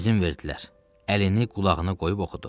İzin verdilər, əlini qulağına qoyub oxudu.